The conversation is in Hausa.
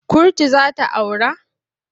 Kurtu za ta aura?